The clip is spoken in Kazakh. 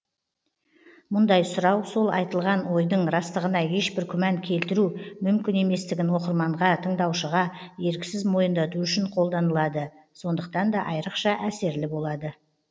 мұндай сұрау сол айтылған ойдың растығына ешбір күмән келтіру мүмкін еместігін оқырманға тыңдаушыға еріксіз мойындату үшін қолданылады сондықтан да айырықша әсерлі болады